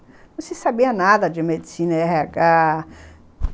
Não se sabia nada de medicina e erre agá.